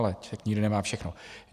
Ale člověk nikdy nemá všechno.